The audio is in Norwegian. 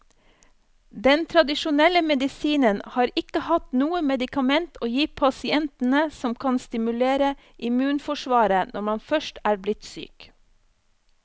Den tradisjonelle medisinen har ikke hatt noe medikament å gi pasientene som kan stimulere immunforsvaret når man først er blitt syk.